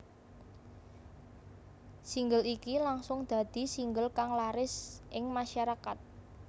Single iki langsung dadi single kang laris ing masyarakat